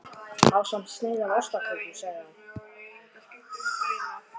Ásamt sneið af ostaköku sagði hann.